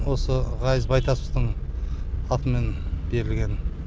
ғазиз байтасовтың атымен берілген